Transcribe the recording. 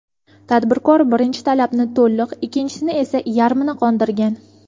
Tadbirkor birinchi talabni to‘liq, ikkinchisini esa yarmini qondirgan.